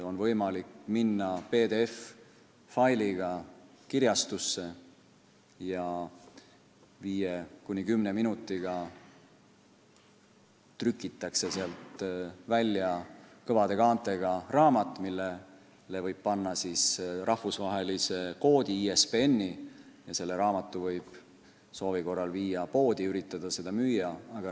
On võimalik minna PDF-failiga kirjastusse, kus viie kuni kümne minutiga trükitakse välja kõvade kaantega raamat, millele võib panna rahvusvahelise koodi, ISBN-i, ja selle võib soovi korral viia poodi, üritada seda müüa.